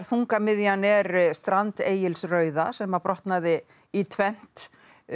þungamiðjan er strand Egils rauða sem að brotnaði í tvennt